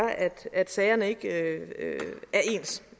at sagerne ikke